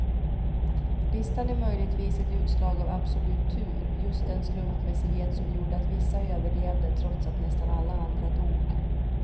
Listan är möjligtvis ett utslag av absolut tur, just den slumpmässighet som gjorde att vissa överlevde trots att nästan alla andra dog.